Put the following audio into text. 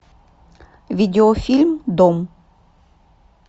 видеофильм дом